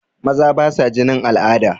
Maza basa jinin al'ada.